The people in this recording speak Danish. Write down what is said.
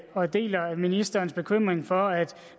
og deler ministerens bekymring for at